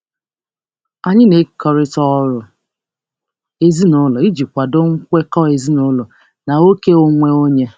Anyị na-ekekọrịta ọrụ ụlọ iji kwado nkwekọ ezinụlọ na ókè onwe onye.